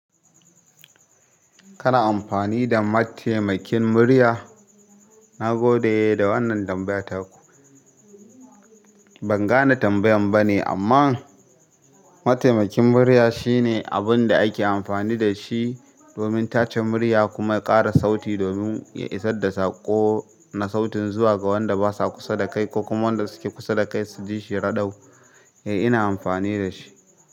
Kana amfani da mataimakin murya? Na gode da wannan tambaya taku. Ban gane tambayan bane amman mataimakin murya shine abun da ake amfani da shi domin tace murya kuma ya ƙara sauti domin ya isar da saƙo na sautin zuwa ga waɗanda ba sa kusa da kai ko kuma waɗanda suke kusa da kai su ji shi raɗau. Eh, ina amfani da shi.